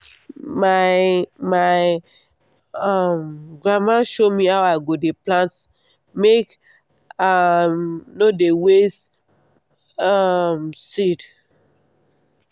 my my um grandma show me how i go dey plant make i um no dey waste um seed.